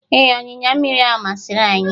Ee, ọnyịnya mmiri ahụ masịrị anyị